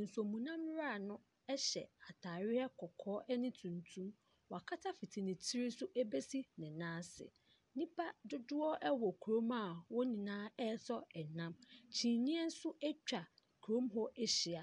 Nsuomunam wura no gyina ataare tuntum na kɔkɔɔ, wakata fiti ne tiri so bɛsi ne nan ase. Nnipa dodoɔ wɔ kurom a wɔn nyinaa ɛretɔn nam. Kyineɛ nso atwa kurom hɔ ahyia.